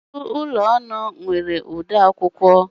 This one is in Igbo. Ọtụtụ ụlọ ọrụ nwere odeakwụkwọ